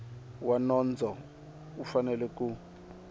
wa nondzo u fanele ku